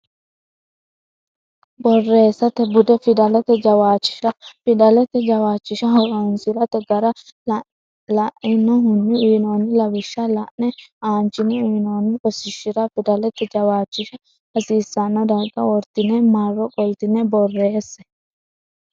Borreessate Bude Fidalete Jawishsha fidalete jawishsha horonsi rate gara lainohunni uynoonni lawishsha la ine aanchine uynoonni rosiishshira fidalate jawishsha hasiisanno darga wortine marro qoltine borreesse.